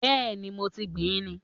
Bẹ́ẹ̀ni, mo ti gbìn ín.